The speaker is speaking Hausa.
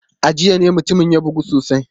A jiya ne mutumin ya bugu sosai.